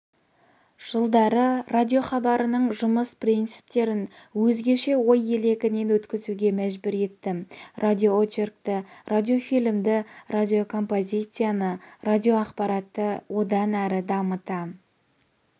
жылдары радиохабарының жұмыс принциптерін өзгеше ой елегінен өткізуге мәжбүр етті радиоочеркті радиофильмді радиокомпозицияны радиоақпаратты одан әрі дамыта